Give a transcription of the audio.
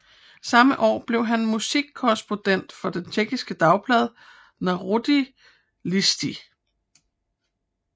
Samme år blev han musikkorrespondent for det tjekkiske dagblad Národní listy